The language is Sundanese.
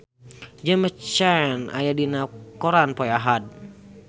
James Caan aya dina koran poe Ahad